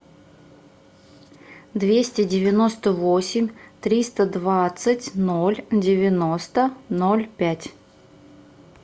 двести девяносто восемь триста двадцать ноль девяносто ноль пять